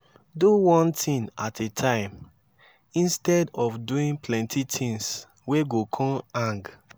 do one tin at a time instead of doing plenti tins wey go con hang